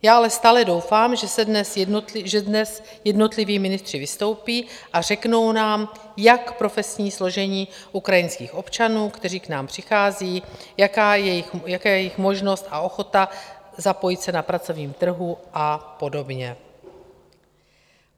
Já ale stále doufám, že dnes jednotliví ministři vystoupí a řeknou nám, jak profesní složení ukrajinských občanů, kteří k nám přichází, jaká je jejich možnost a ochota zapojit se na pracovním trhu a podobně.